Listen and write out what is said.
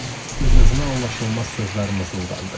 Öz-özünə anlaşılmaz sözlər mızıldandı.